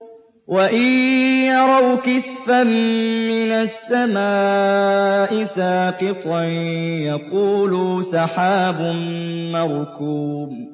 وَإِن يَرَوْا كِسْفًا مِّنَ السَّمَاءِ سَاقِطًا يَقُولُوا سَحَابٌ مَّرْكُومٌ